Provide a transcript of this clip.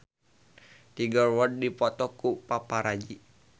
Tiger Wood dipoto ku paparazi